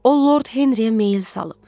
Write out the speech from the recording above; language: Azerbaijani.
O Lord Henriyə meyil salıb.